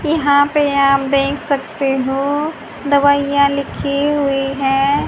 यहां पे आप देख सकते हो दवाइयां लिखी हुई हैं।